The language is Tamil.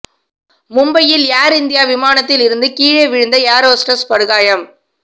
மும்பையில் ஏர் இந்தியா விமானத்தில் இருந்து கீழே விழுந்த ஏர் ஹோஸ்டஸ் படுகாயம்